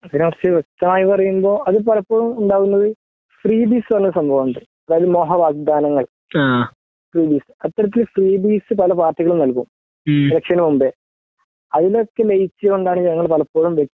അതിനെകുറിച്ച് വ്യക്തമായി പറയുമ്പോ അത് പലപ്പോഴും ഉണ്ടാകുന്നത് ഫ്രീബിസ് എന്ന് പറഞ്ഞ ഒരു സംഭവമുണ്ട് അതായത് മോഹവാഗ്ദാനങ്ങൾ ഫ്രീബിസ് അത്തരത്തിൽ പല പാർട്ടികളും നല്കും എലക്ഷന് മുമ്പേ അതിലൊക്കെ ലയിച്ചുകൊണ്ടാണ് ഞങ്ങള് പലപ്പോഴും